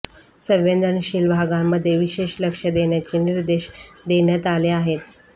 संवेदनशील भागांमध्ये विशेष लक्ष देण्याचे निर्देश देण्यात आले आहेत